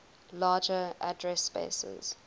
larger address spaces